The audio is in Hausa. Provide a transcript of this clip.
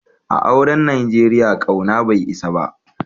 A'auren Nijeriya, kauna bai isa ba.